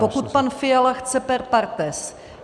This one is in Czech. Pokud pan Fiala chce per partes.